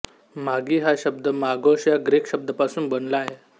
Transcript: मागी हा शब्द मागोस या ग्रीक शब्दापासून बनला आहे